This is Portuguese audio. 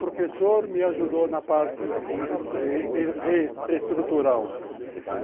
Professor me ajudou na parte estrutural.